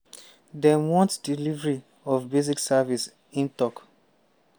dem want delivery of basic services" im tok.